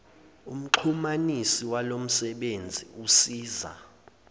umxhumanisi walomsebenzi usiza